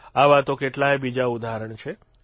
આવા તો કેટલાય બીજા ઉદાહરણ છે